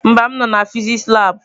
Ee, m nọ na fịsịsị labụ.